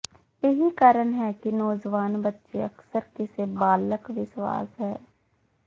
ਇਹੀ ਕਾਰਣ ਹੈ ਕਿ ਨੌਜਵਾਨ ਬੱਚੇ ਅਕਸਰ ਕਿਸੇ ਬਾਲਗ ਵਿਸ਼ਵਾਸ ਹੈ